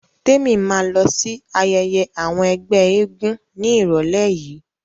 Témi ma lọ sí ayẹyẹ àwọn ẹgbẹ́ eégún ní ìrọ̀lẹ́ yìí